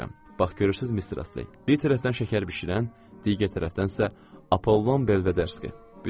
Bax görürsünüz, Mister Astley, bir tərəfdən şəkər bişirən, digər tərəfdənsə Apollon Belvederski.